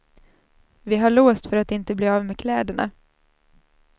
Vi har låst för att inte bli av med kläderna.